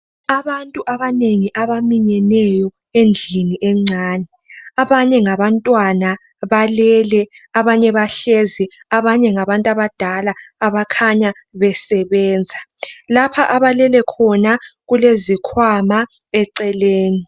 Abantu abanengi abaminyeneyo endlini encane. Abanye ngabantwana, balele, abanye bahlezi, abanye ngabantu abadala abakhanya besebenza. Lapha abalele khona kulezikhwama eceleni.